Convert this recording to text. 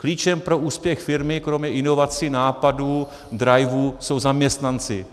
Klíčem pro úspěch firmy kromě inovací, nápadů, drajvů, jsou zaměstnanci.